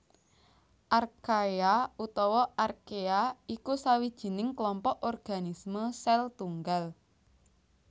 Archaea utawa Archea iku sawijining klompok organisme sèl tunggal